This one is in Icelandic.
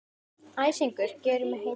Æsingur hans gerir mig heita.